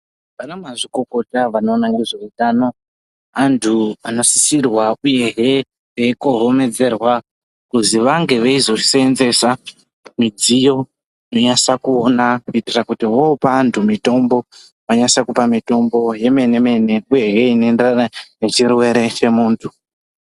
Ana mazvikokota vanoona ngezveutano antu anosisirwe uyehe veikohomedzerwa kuti vange veizoseenzesa midziyo inonasa kuona kuitira kuti vopa antu mitombo vanase kupa mitombo yemene mene uyehe inoenderana nechirwere chemuntu.